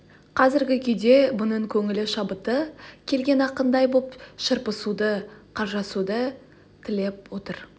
қазіргі күйде бұнын көңілі шабыты келген ақындай боп шарпысуды қаржасуды тілеп отыр